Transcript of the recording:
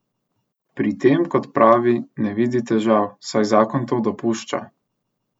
Pri tem, kot pravi, ne vidi težav, saj zakon to dopušča.